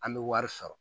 An bɛ wari sɔrɔ